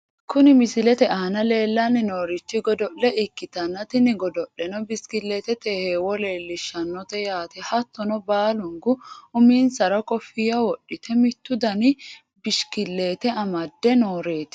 Kuni misilete aana leellanni noorichi godo'le ikkitanna tini godo'leno bishikilliitete heewo leellishshannote yaate, hattonoe baalunku uminsara kofiyya wodhite mittu dani bishikiliite amadde nooreeti.